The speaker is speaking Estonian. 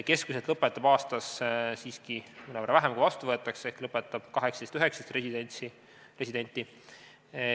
Keskmiselt lõpetab aastas siiski mõnevõrra vähem, kui vastu võetakse, ehk enamasti 18–19 residenti.